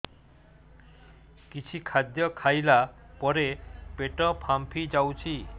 କିଛି ଖାଦ୍ୟ ଖାଇଲା ପରେ ପେଟ ଫାମ୍ପି ଯାଉଛି